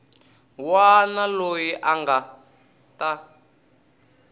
wana loyi a nga ta